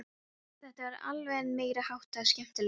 Þetta var alveg meiri háttar skemmtilegt!